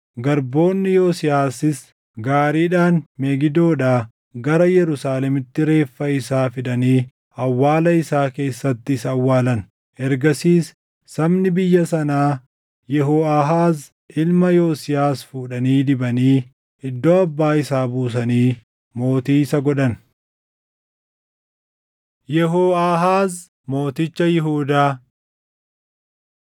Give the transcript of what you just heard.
Garboonni Yosiyaasis gaariidhaan Megidoodhaa gara Yerusaalemitti reeffa isaa fidanii awwaala isaa keessatti isa awwaalan. Ergasiis sabni biyya sanaa Yehooʼaahaaz ilma Yosiyaas fuudhanii dibanii iddoo abbaa isaa buusanii mootii isa godhan. Yehooʼaahaaz Mooticha Yihuudaa 23:31‑34 kwf – 2Sn 36:2‑4